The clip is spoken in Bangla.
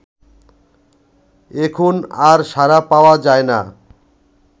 এখন আর সাড়া পাওয়া যায় না